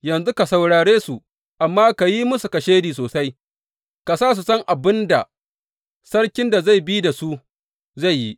Yanzu ka saurare su amma ka yi musu kashedi sosai, ka sa su san abin da sarkin da zai bi da su zai yi.